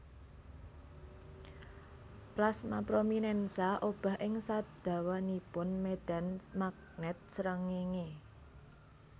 Plasma prominènsa obah ing sadawanipun médhan magnèt srengéngé